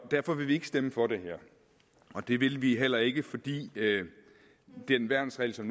derfor vil vi ikke stemme for det her og det vil vi heller ikke fordi den værnsregel som